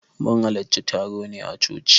Mun hallarci taron ne a coci.